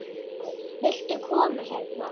Viltu koma hérna?